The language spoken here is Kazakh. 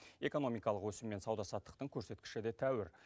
экономикалық өсім мен сауда саттықтың көрсеткіші де тәуір